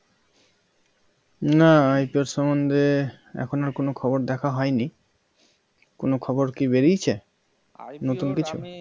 না IPO সম্বন্ধে আর কোন খবর দেখা হয়নি কোন খবর কি বেরিয়েছে নতুন কিছু IPO আমি